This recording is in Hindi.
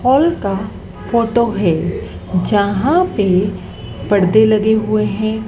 हॉल का फोटो है। जहां पे पर्दे लगे हुए हैं।